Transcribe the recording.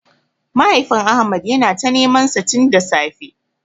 Mahaifin Ahmad yana ta nemansa tin da safe.